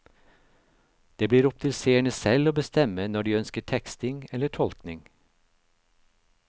Det blir opp til seerne selv å bestemme når de ønsker teksting eller tolkning.